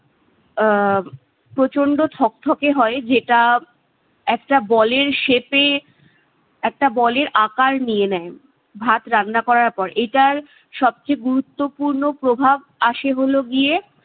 আহ প্রচণ্ড থকথকে হয় যেটা একটা বলের shape এ একটা বলের আকার নিয়ে নেয়। ভাত রান্না করার পর। এটার সবচেয়ে গুরুত্বপূর্ণ প্রভাব আসে হলো গিয়ে-